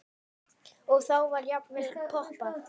Og þá var jafnvel poppað.